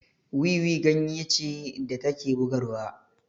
Wiwi ganye ce da take bugarwa